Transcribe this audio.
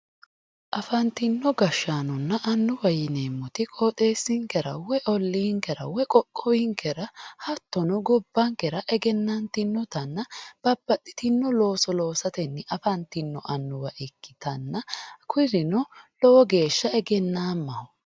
Afantino gashshaanonna annuwate yineemmori ooxeessinkera woyi olliinkera woyi qoqqowinkera hattono gobbankera egennantinotanna babbaxxitino looso loosatenni afantino annuwa ikkitanna kurino lowo geeshsha egennaammaho